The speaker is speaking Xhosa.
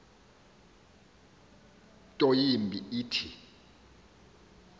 nto yimbi ithi